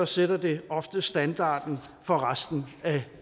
sætter det ofte standarden for resten af